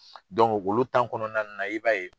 ulu kɔnɔna na i b'a ye.